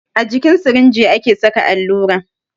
A jikin sirinji ake saka allura